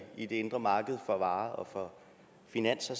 i det indre marked for varer og for finanser